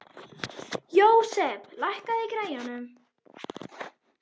Jósep, lækkaðu í græjunum.